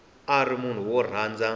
a ri munhu wo rhandza